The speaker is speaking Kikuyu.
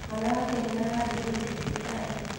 Mwana wake nĩararehirwo thibitarĩ.